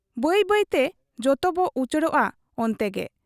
ᱵᱟᱹᱭᱵᱟᱹᱭᱛᱮ ᱡᱚᱛᱚᱵᱚ ᱩᱪᱟᱹᱲᱚᱜ ᱟ ᱚᱱᱛᱮ ᱜᱮ ᱾